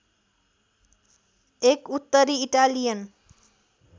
एक उत्तरी इटालियन